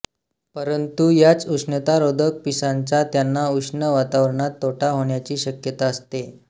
परंतु याच उष्णतारोधक पिसांचा त्यांना उष्ण वातावरणात तोटा होण्याची शक्यता असते